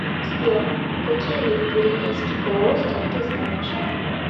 сбер какие виды пиренейский полуостров ты знаешь